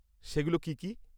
সেগুলো কি কি?